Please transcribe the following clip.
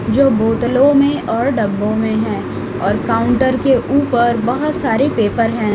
जो बोतलों में और डिब्बों में है और काउंटर के ऊपर बहुत सारे पेपर हैं।